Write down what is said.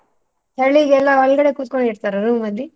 ಚಳಿಗೆ ಎಲ್ಲ ಒಳ್ಗಡೆ ಕುತ್ಕೊಂಡು ಇರ್ತರಾ room ಅಲ್ಲಿ?